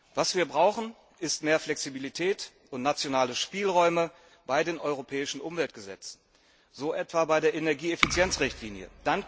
Was wir brauchen, sind mehr Flexibilität und nationale Spielräume bei den europäischen Umweltgesetzen, so etwa bei der Energieeffizienzrichtlinie.